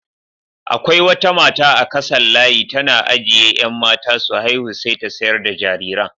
Akwai wata mata a kasan layi tana ajiye 'yan mata su haihu sai ta sayar da jariran.